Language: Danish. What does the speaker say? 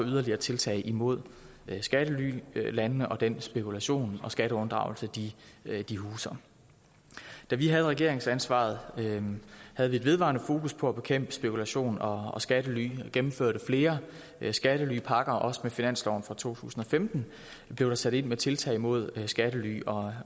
yderligere tiltag imod skattelylandene og den spekulation og skatteunddragelse de de huser da vi havde regeringsansvaret havde vi vedvarende fokus på at bekæmpe spekulation og skattely vi gennemførte flere skattelypakker også med finansloven for to tusind og femten blev der sat ind med tiltag mod skattely og